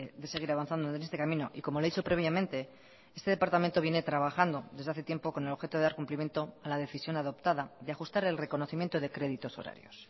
de seguir avanzando en este camino y como le he dicho previamente este departamento viene trabajando desde hace tiempo con el objeto de dar cumplimiento a la decisión adoptada y ajustar el reconocimiento de créditos horarios